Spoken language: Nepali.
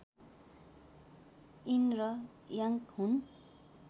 यिन र याङ्ग हुन्